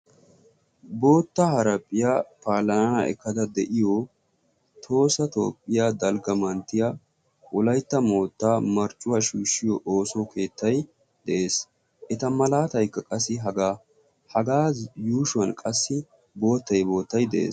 bootta haaraaphphiyaa paalanana ekkada de'iyo tohosa toophphiyaa dalgga manttiya wolaytta moottaa marccuwaa shuushshiyo ooso keettay de'ees. eta malaatikka qassi hagaa yuushuwan qassi boottay boottay de'ees.